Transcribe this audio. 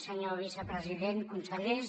senyor vicepresident consellers